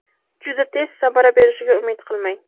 Juda tez samara berishiga umid qilmang.